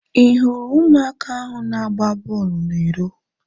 I hụrụ ụmụaka ahu na-agba bọọlụ na iro?